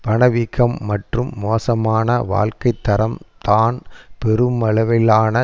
பணவீக்கம் மற்றும் மோசமான வாழ்க்கை தரம் தான் பெருமளவிலான